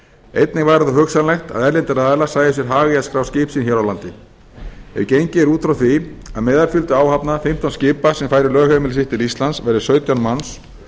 einnig væri þó hugsanlegt að erlendir aðilar sæju sér hag í að skrá skip sín hér á landi ef gengið er út frá því að meðalfjöldi í áhöfn fimmtán skipa sem færi lögheimili sitt til íslands verði sautján manns